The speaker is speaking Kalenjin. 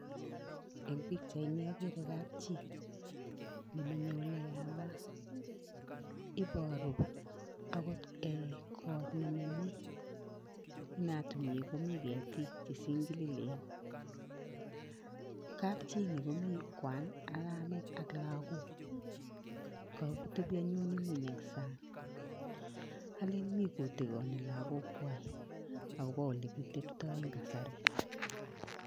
Eng pikchaini akere kapchi neminye oleyamat. Iporu akot kot neminye, inatunyi komi ketik chesinkililen. Kapchi ini komi kwan ak kamet ak lagok. Ka tebi anyun ng'uny eng sang alen mi kotikoni lakokwai akopo olekiteptoi eng kasari.